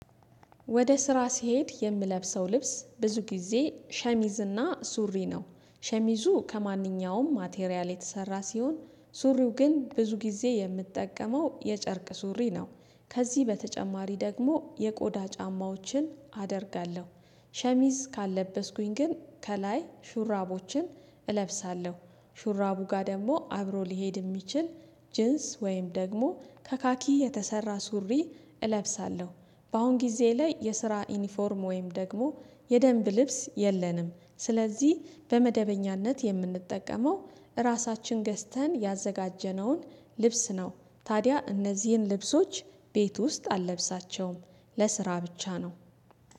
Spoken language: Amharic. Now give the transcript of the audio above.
ወደ ስራ ሲሄድ የምለብሰው ልብስ ብዙ ጊዜ ሸሚዝና ሱሪ ነው ሸሚዙ ከማንኛውም ማቴሪያል የተሰራ ሲሆን ሱሪው ግን ብዙ ጊዜ የምጠቀመው የጨርቅ ሱሪ ነው። ከዚህ በተጨማሪ ደግሞ የቆዳ ጫማዎችን አደርጋለሁ። ሸሚዝ ካለበስኩኝ ግን ከላይ ሹራቦችን እለብሳለሁ ሹራቡ ጋር ደግሞ አብሮ ሊሄድ የሚችል ጅንስ ወይም ደግሞ ከካኪ የተሰራ ሱሪ እለብሳለሁ። በአሁን ጊዜ ላይ የስራ ዩኒፎርም ወይም ደግሞ የደንብ ልብስ የለንም ስለዚህ በመደበኛነት የምንጠቀመው እራሳችን ገዝተን ያዘጋጀነውን ልብስ ነው። ታዲያ እነዚህን ልብሶች ቤት ውስጥ አለብሳቸውም ለስራ ብቻ ነው